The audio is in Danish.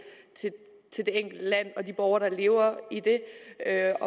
enkelte land og de borgere der lever i det at